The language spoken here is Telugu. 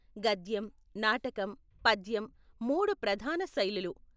గద్యం, నాటకం, పద్యం మూడు ప్రధాన శైలులు.